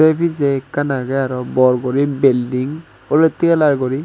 sei pijey ekkan agey aro bor guri building olottey colour guri.